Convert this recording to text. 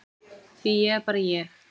Því ég er bara ég.